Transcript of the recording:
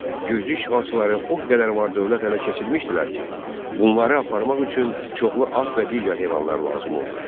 Gürcü işğalçıları o qədər var-dövlət ələ keçirmişdilər ki, bunları aparmaq üçün çoxlu at və digər heyvanlar lazım oldu.